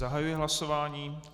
Zahajuji hlasování.